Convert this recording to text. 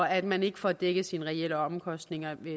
at man ikke får dækket sine reelle omkostninger